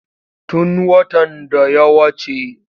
Tun watan da ya wace.